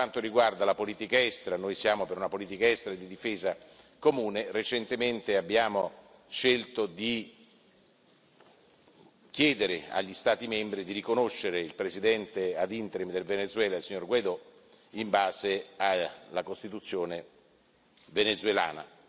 Per quanto riguarda la politica estera, noi siamo per una politica estera e di difesa comune. Recentemente abbiamo scelto di chiedere agli Stati membri di riconoscere il Presidente ad interim del Venezuela, il signor Guaidò, in base alla Costituzione venezuelana.